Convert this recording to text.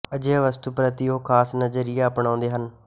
ਅਜਿਹੀ ਵਸਤੂ ਪ੍ਰਤੀ ਉਹ ਖ਼ਾਸ ਨਜ਼ਰੀਆ ਅਪਣਾਉਂਦੇ ਹਨ